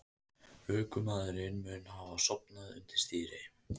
Ökumaðurinn mun hafa sofnað undir stýri